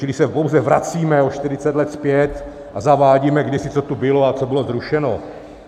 Čili se pouze vracíme o 40 let zpět a zavádíme, kdysi co tu bylo a co bylo zrušeno.